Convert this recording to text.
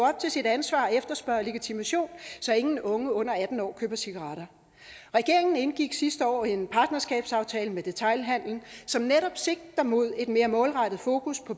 op til sit ansvar og efterspørge legitimation så ingen unge under atten år køber cigaretter regeringen indgik sidste år en partnerskabsaftale med detailhandelen som netop sigter mod et mere målrettet fokus på